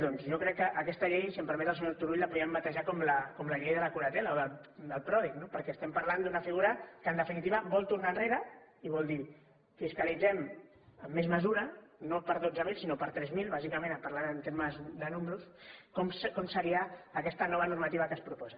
doncs jo crec que aquesta llei si em permet el senyor turull la podríem batejar com la llei de la curatela o del pròdig no perquè estem parlant d’una figura que en definitiva vol tornar enrere i vol dir fiscalitzem amb més mesura no per dotze mil sinó per tres mil bàsicament parlant en termes de números com seria aquesta nova normativa que es proposa